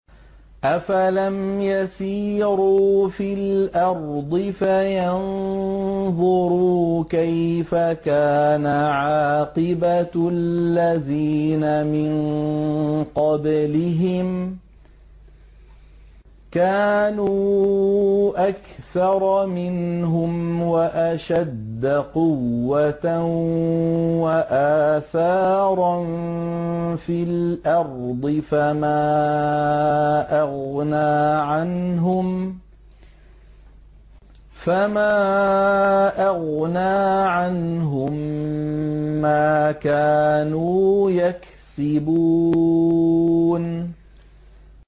أَفَلَمْ يَسِيرُوا فِي الْأَرْضِ فَيَنظُرُوا كَيْفَ كَانَ عَاقِبَةُ الَّذِينَ مِن قَبْلِهِمْ ۚ كَانُوا أَكْثَرَ مِنْهُمْ وَأَشَدَّ قُوَّةً وَآثَارًا فِي الْأَرْضِ فَمَا أَغْنَىٰ عَنْهُم مَّا كَانُوا يَكْسِبُونَ